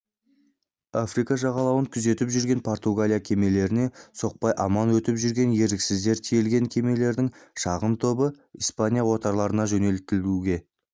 африка жағалауын күзетіп жүрген португалия кемелеріне соқпай аман өтіп жүрген еріксіздер тиелген кемелердің шағын тобы испания отарларына жөнелтуге